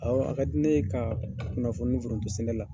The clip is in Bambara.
Awɔ a ka di ne ye ka kunnafoni foronto sɛnɛ la.